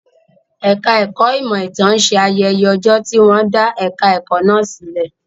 Ẹ̀ka ẹ̀kọ́ ìmọ̀ ìtàn ń ṣe ayẹyẹ ọjọ́ tí wọ́n dá ẹ̀ka ẹ̀kọ́ náà sílẹ̀.